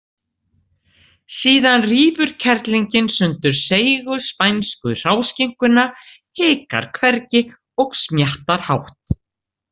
Síðan rífur kerlingin sundur seigu, spænsku hráskinkuna, hikar hvergi og smjattar hátt.